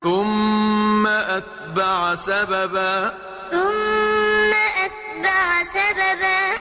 ثُمَّ أَتْبَعَ سَبَبًا ثُمَّ أَتْبَعَ سَبَبًا